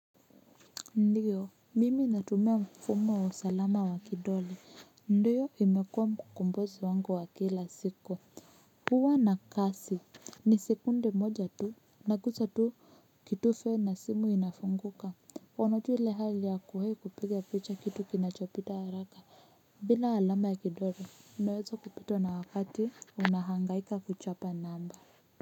Ndiyo mimi hatumia mfumo wa salama wa kidoli ndiyo imekua mkombozi wangu wa kila siku huwa na kasi ni sekunde moja tu naguza tu kitufe na simu inafunguka wanotu ile hali ya kuhe kupiga picha kitu kinachopita haraka bila alama ya kidoli unaweza kupitwa na wakati unahangaika kuchapa namba.